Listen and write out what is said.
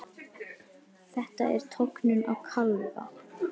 Þetta er tognun á kálfa.